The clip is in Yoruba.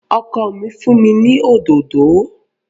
Ọkọ mi fún mi ní òdòdó